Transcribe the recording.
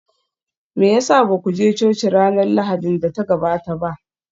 Me ya sa ba ku je coci ranar Lahadin da ta gabata ba?